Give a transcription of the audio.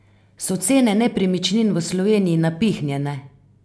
So cene nepremičnin v Sloveniji napihnjene?